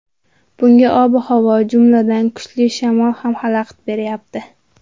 Bunga ob-havo, jumladan, kuchli shamol ham xalaqit beryapti.